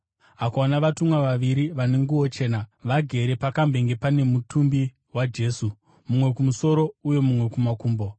akaona vatumwa vaviri vane nguo chena, vagere pakambenge pane mutumbi waJesu, mumwe kumusoro uye mumwe kumakumbo.